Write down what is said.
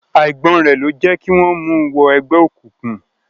Àìgbọ́n rẹ̀ ló jẹ́ kí wọ́n mu wọ ẹgbẹ́ òkùnkùn.